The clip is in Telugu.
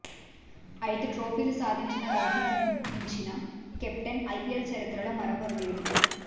ఐదు ట్రోఫీలు సాధించిన రోహిత్ను మించిన కెప్టెన్ ఐపీఎల్ చరిత్రలో మరొకరు లేరు